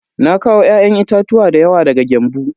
Na kawo ya'yan itatuwa dayawa daga Gembu.